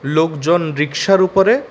লোকজন রিক্সার উপরে--